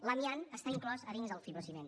l’amiant està inclòs a dins del fibrociment